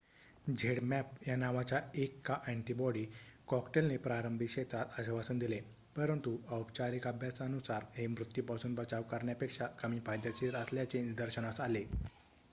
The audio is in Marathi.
zmapp या नावाच्या 1 का अँटीबॉडी कॉकटेलने प्रारंभी क्षेत्रात आश्वासन दिले परंतु औपचारिक अभ्यासानुसार हे मृत्यूपासून बचाव करण्यापेक्षा कमी फायदेशीर असल्याचे निदर्शनास आले